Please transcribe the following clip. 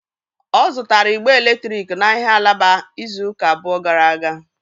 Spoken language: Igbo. Ọ zụtara ịgbe eletrik n'ahịa alaba izu ụka abụọ gara aga.